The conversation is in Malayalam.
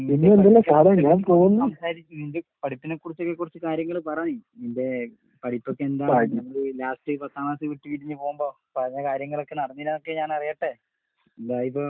സംസാരിക്ക് നിന്റെ പഠിപ്പിനെക്കുറിച്ചൊക്കെ കൊറച്ച് കാര്യങ്ങള് പറ നീ. നിന്റെ പഠിപ്പൊക്കെ എന്തായി? നമ്മള് ലാസ്റ്റ് പത്താം ക്ലാസ് വിട്ട് പിരിഞ്ഞ് പോവുമ്പൊ പറഞ്ഞ കാര്യങ്ങളൊക്കെ നടന്നിനാക്കെ ഞാനറിയട്ടേ. എന്തായിപ്പ